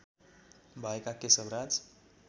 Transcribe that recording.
भएका केशव राज